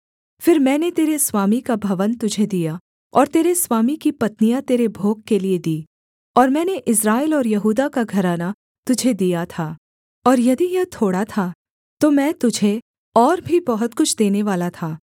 फिर मैंने तेरे स्वामी का भवन तुझे दिया और तेरे स्वामी की पत्नियाँ तेरे भोग के लिये दीं और मैंने इस्राएल और यहूदा का घराना तुझे दिया था और यदि यह थोड़ा था तो मैं तुझे और भी बहुत कुछ देनेवाला था